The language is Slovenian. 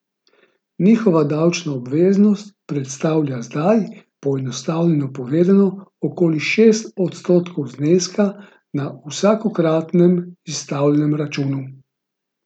Njihova davčna obveznost predstavlja zdaj, poenostavljeno povedano, okoli šest odstotkov zneska na vsakokratnem izstavljenem računu.